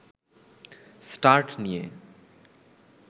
start নিয়ে